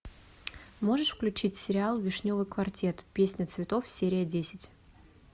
можешь включить сериал вишневый квартет песня цветов серия десять